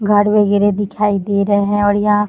घर वगैरह दिखाई दे रहा और या --